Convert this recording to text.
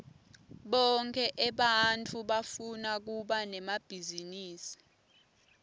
bonkhe ebantfu bafuna kuba nemabhizinisi